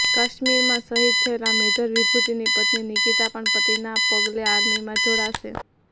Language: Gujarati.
કાશ્મીરમાં શહીદ થયેલા મેજર વિભૂતિની પત્ની નિકિતા પણ પતિના પગલે આર્મીમાં જોડાશે